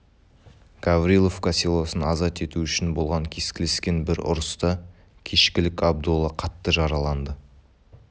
гавриловка селосын азат ету үшін болған кескілескен бір ұрыста кешкілік абдолла қатты жараланды